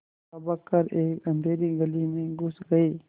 लपक कर एक अँधेरी गली में घुस गये